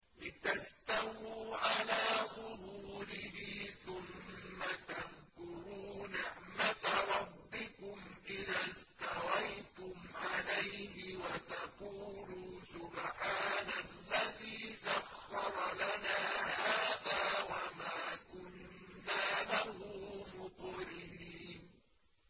لِتَسْتَوُوا عَلَىٰ ظُهُورِهِ ثُمَّ تَذْكُرُوا نِعْمَةَ رَبِّكُمْ إِذَا اسْتَوَيْتُمْ عَلَيْهِ وَتَقُولُوا سُبْحَانَ الَّذِي سَخَّرَ لَنَا هَٰذَا وَمَا كُنَّا لَهُ مُقْرِنِينَ